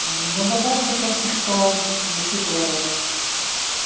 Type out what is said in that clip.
ну добавлю только что учитывая вот